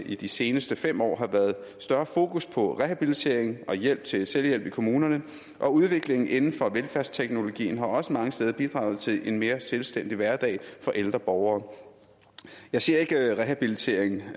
i de seneste fem år har været større fokus på rehabilitering og hjælp til selvhjælp i kommunerne og at udviklingen inden for velfærdsteknologien også mange steder har bidraget til en mere selvstændig hverdag for ældre borgere jeg ser ikke rehabilitering